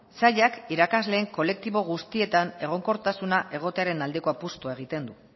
sailak irakasleen kolektibo guztietan egonkortasuna egotearen aldeko apustua egiten du